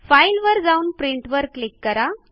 file वर जाऊन print वर क्लिक करा